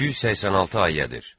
286 ayədir.